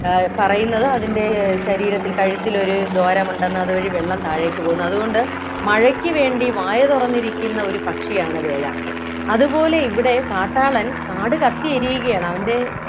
ആഹ് പറയുന്നത് അതിൻ്റെ ശരീരത്തിൽ കഴുത്തിൽ ഒരു ദ്വാരമുണ്ടെന്ന് അതുവഴി വെള്ളം താഴേക്ക് പോകുന്നു അതുകൊണ്ട് മഴയ്ക്ക് വേണ്ടി വായ തുറന്നിരിക്കുന്ന ഒരു പക്ഷിയാണ് വേഴാമ്പൽ അതുപോലെ ഇവിടെ കാട്ടാളൻ കാട് കത്തി എരിയുകയാണ് അവൻ്റെ